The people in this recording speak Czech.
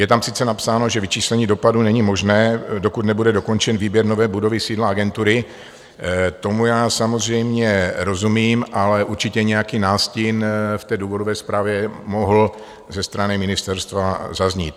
Je tam sice napsáno, že vyčíslení dopadů není možné, dokud nebude dokončen výběr nové budovy sídla agentury, tomu já samozřejmě rozumím, ale určitě nějaký nástin v té důvodové zprávě mohl ze strany ministerstva zaznít.